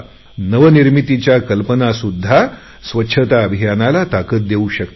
नवनिर्मितीच्या कल्पना सुद्धा स्वच्छता अभियानाला ताकत देऊ शकतात